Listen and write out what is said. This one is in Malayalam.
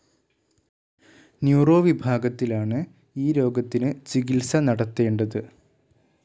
ന്യൂറോ വിഭാഗത്തിലാണ് ഈ രോഗത്തിന് ചികിത്സ നടത്തേണ്ടത്.